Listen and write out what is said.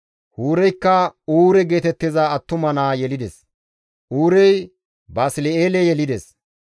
Huureykka Uure geetettiza attuma naa yelides; Uurey Basli7eele yelides.